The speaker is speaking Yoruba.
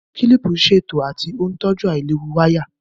Kílìpù ń ṣètò àti ó ń tọ́jú àìlewu wáyà